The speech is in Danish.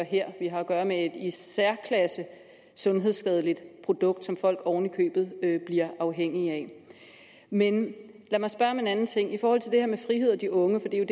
her vi har at gøre med et i særklasse sundhedsskadeligt produkt som folk oven i købet bliver afhængige af men lad mig spørge om en anden ting i forhold til det her med frihed og de unge for det er